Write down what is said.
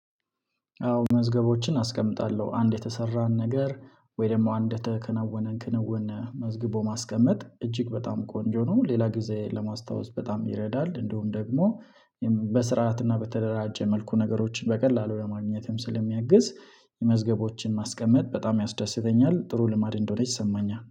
አዎ መዝገቦችን አስቀምጣለሁ አንድ የተሰራን ነገር ወይ ደግሞ አንድ የተከነወነን ክንውን መዝግቦ ማስቀመጥ እጅግ በጣም ቆንጆ ነው። ሌላ ጊዜ ለማስታወስ በጣም ይረዳል። እንደውም ደግሞ በስርዓትና በተደራጀ መልኩ ነገሮችን በቀላሉ ለማግኘትም ስለሚያግዝ መዝገቦችን ማስቀመጥ በጣም ያስደስተኛል። ጥሩ ልማድ እንደሆነ ይሰማኛል